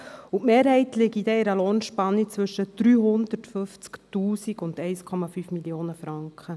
Die Mehrheit liege in einer Lohnspanne zwischen 350 000 und 1,5 Mio. Franken.